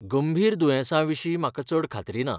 गंभीर दुयेंसांविशीं म्हाका चड खात्री ना.